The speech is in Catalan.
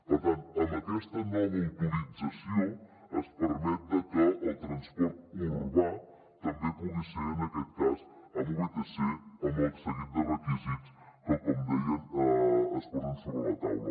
per tant amb aquesta nova autorització es permet que el transport urbà també pugui ser en aquest cas amb vtc amb el seguit de requisits que com dèiem es posen sobre la taula